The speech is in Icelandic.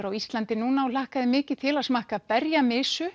á Íslandi núna og hlakkaði mikið til að smakka